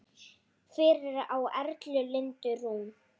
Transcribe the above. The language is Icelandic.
Fyrir á Erla Lindu Rún.